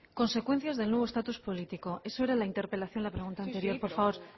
consecuencias del nuevo estatus político eso era la interpelación a la pregunta anterior por favor